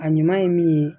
A ɲuman ye min ye